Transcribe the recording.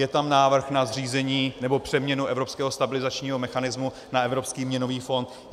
Je tam návrh na zřízení nebo přeměnu evropského stabilizačního mechanismu na Evropský měnový fond.